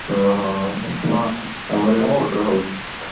ଓହୋ, ଆମର ବି ଏଇପଟରେ ହଉଛି ।